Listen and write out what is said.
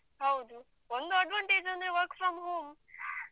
ಹೌದು. ಒಂದು advantage ಅಂದ್ರೆ work from home